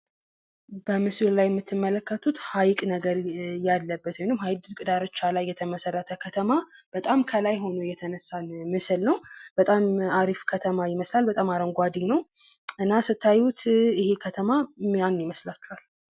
በምስሉ ላይ የምትመለከቱት ሀይቅ ነገር ያለበት ወይም ሀይቅ ዳርቻ ላይ የተመሰረተ ከተማ፤ በጣም ከላይ ሆኖ የተነሳ ምስል ነው በጣም አሪፍ ከተማ ይመስላል። በጣም አረንጕዴ ነው እና ስታዩት ይሄ ከተማ ማን ይመስላኋል?